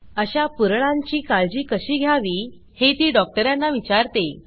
अशा पुरळाची काळजी कशी घ्यावी हे ती डॉक्टरांना विचारते